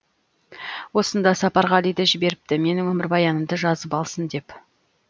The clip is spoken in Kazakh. осында сапарғалиді жіберіпті менің өмірбаянымды жазып алсын деп